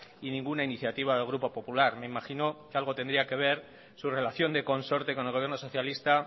y ninguna iniciativa del grupo popular me imagino que algo tendría que ver su relación de consorte con el gobierno socialista